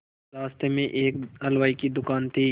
रास्ते में ही एक हलवाई की दुकान थी